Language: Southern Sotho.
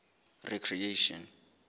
recreation